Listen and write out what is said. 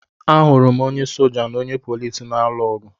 Ahụrụ m onye soja na onye polisi na-alụ ọgụ